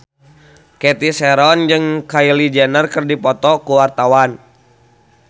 Cathy Sharon jeung Kylie Jenner keur dipoto ku wartawan